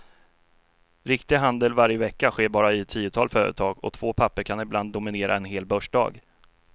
Riktig handel varje vecka sker bara i ett tiotal företag och två papper kan ibland dominera en hel börsdag.